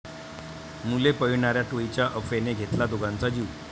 मुले पळविणाऱ्या टोळीच्या अफवेने घेतला दोघांचा जीव